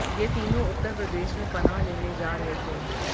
ये तीनों उत्तर प्रदेश में पनाह लेने जा रहे थे